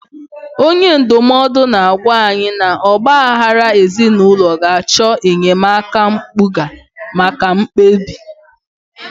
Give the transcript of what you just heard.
Onye ndụmọdụ na-agwa anyị na ọgba aghara ezinụlọ ga-achọ enyemaka mpụga maka mkpebi.